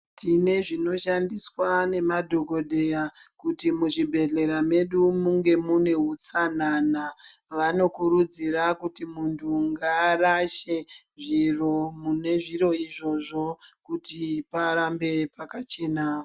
Tine zvinoshandiswa nemadhogodheya kuti muzvibhedhlera medu munge mune utsanana. Vanokurudzira kuti muntu ngaarashe zviro mune zviro izvozvo kuti parambe pakachena.